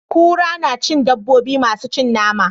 Kura na cikin dabobi masu cin nama.